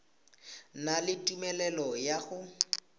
na le tumelelo ya go